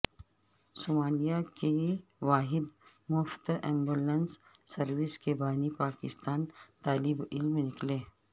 Somalia کی واحد مفت ایمبولینس سروس کے بانی پاکستانی طالبعلم نکلے